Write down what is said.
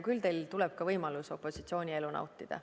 Küll tuleb ka teil võimalus opositsioonielu nautida.